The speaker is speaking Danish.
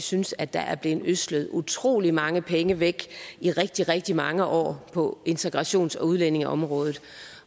synes at der er blevet ødslet utrolig mange penge væk i rigtig rigtig mange år på integrations og udlændingeområdet